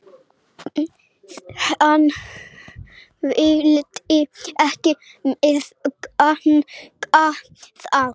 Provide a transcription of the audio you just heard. Hann vildi ekki meðganga það.